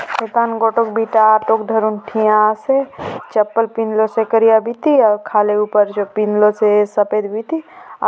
हुथान गोटोक बीता ऑटो के धरून ठिया आसे चप्पल पिंदलोसे करिया बीती आउर खाले ऊपर चो पिंदलोसे सफ़ेद बीती आउ --